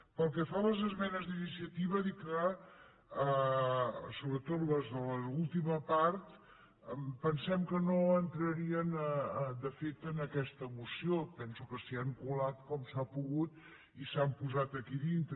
pel que fa a les esmenes d’iniciativa dir que sobretot les de l’última part pensem que no entrarien de fet en aquesta moció penso que s’hi han colat com s’ha pogut i s’han posat aquí dintre